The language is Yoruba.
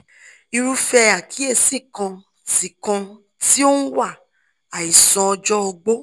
irúfẹ́ àkíyèsí kan tí kan tí ó ń wá àìsàn ọjọ́ ogbó